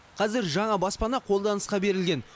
қазір жаңа баспана қолданысқа берілген